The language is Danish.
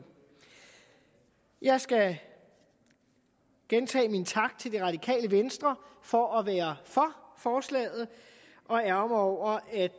jeg skal gentage min tak til det radikale venstre for at være for forslaget og ærgre mig over at